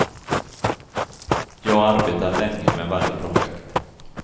Jag arbetar länge med varje projekt.